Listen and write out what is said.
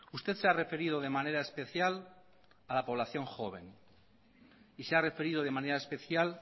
usted se ha referido de manera especial a la población joven y se ha referido de manera especial